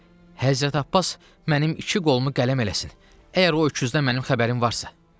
Həzrət Abbas mənim iki qolumu qələm eləsin, əgər o öküzdən mənim xəbərim varsa.